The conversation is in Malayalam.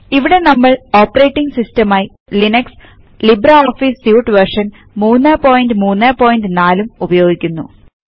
ഇവിടെ നമ്മൾ ഓപ്പറേറ്റിംഗ് സിസ്റ്റം ആയി Linux LibreOffice suite version 334 ഉപയോഗിക്കുന്നു